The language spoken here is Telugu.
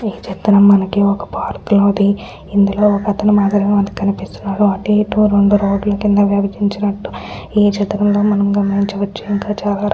ఈ చిత్రం మనకి ఒక్క పార్క్ లోది ఇందులో ఒక్కతను మాత్రమే మనకు కనిపిస్తున్నాడు అట్టు ఇట్టు రెండు రోడ్డు కింద విభజించినట్లు ఈ చిత్రం లో మనం గమనించవచ్చు ఇంక చాలా రకా --